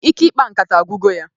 Ike ikpa nkata agwugo ya